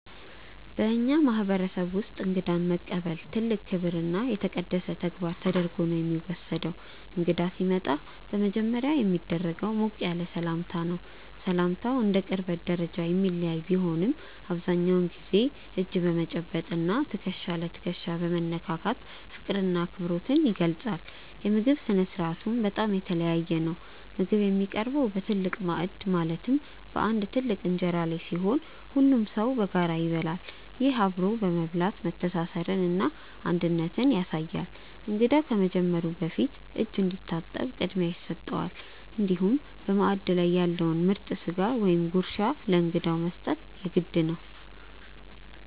በእኛ ማህበረሰብ ውስጥ እንግዳን መቀበል ትልቅ ክብርና የተቀደሰ ተግባር ተደርጎ ነው የሚወሰደው። እንግዳ ሲመጣ በመጀመሪያ የሚደረገው ሞቅ ያለ ሰላምታ ነው። ሰላምታው እንደ ቅርበት ደረጃ የሚለያይ ቢሆንም፣ አብዛኛውን ጊዜ እጅ በመጨበጥ እና ትከሻ ለትከሻ በመነካካት ፍቅርና አክብሮት ይገለጻል። የምግብ ስነ-ስርዓቱም በጣም የተለየ ነው። ምግብ የሚቀርበው በትልቅ ማዕድ ማለትም በአንድ ትልቅ እንጀራ ላይ ሲሆን፣ ሁሉም ሰው በጋራ ይበላል። ይህ አብሮ መብላት መተሳሰርንና አንድነትን ያሳያል። እንግዳው ከመጀመሩ በፊት እጅ እንዲታጠብ ቅድሚያ ይሰጠዋል፤ እንዲሁም በማዕድ ላይ ያለውን ምርጥ ስጋ ወይም ጉርሻ ለእንግዳው መስጠት የግድ ነው።